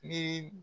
Ni